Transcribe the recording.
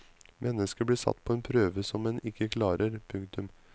Mennesket blir satt på en prøve som en ikke klarer. punktum